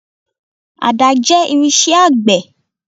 Àdá jẹ́ irinṣẹ́ àgbẹ̀.